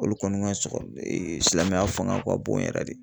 Olu kɔni ka sɔkɔ silamɛya fanga ka bon yɛrɛ de.